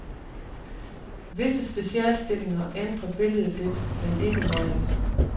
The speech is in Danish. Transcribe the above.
Visse specialstillinger ændrer billedet lidt, men ikke meget.